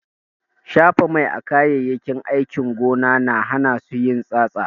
Shafa mai a kayayyakin aikin gona na hana su yin tsatsa.